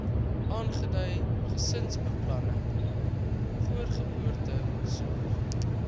aangedui gesinsbeplanning voorgeboortesorg